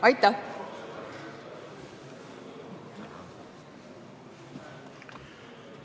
Aitäh!